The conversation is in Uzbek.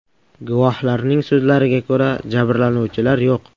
Guvohlarning so‘zlariga ko‘ra, jabrlanuvchilar yo‘q.